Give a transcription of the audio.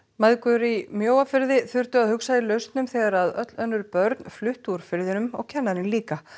mæðgur í Mjóafirði þurftu að hugsa í lausnum þegar öll önnur börn fluttu úr firðinum og kennarinn líka